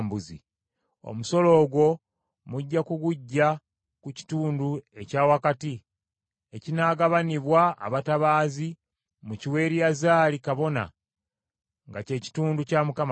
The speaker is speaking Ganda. Omusolo ogwo mujja kuguggya ku kitundu ekya wakati ekinaagabanibwa abatabaazi mukiwe Eriyazaali kabona nga kye kitundu kya Mukama Katonda.